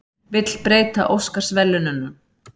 Vill breyta Óskarsverðlaununum